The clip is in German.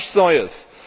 Das war nichts Neues.